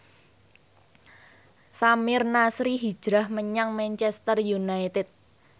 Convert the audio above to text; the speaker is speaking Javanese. Samir Nasri hijrah menyang Manchester united